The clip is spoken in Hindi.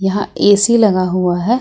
यहां ऐ_सी लगा हुआ है।